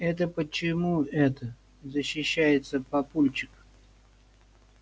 это почему это защищается папульчик